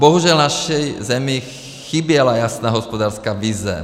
Bohužel naší zemi chyběla jasná hospodářská vize.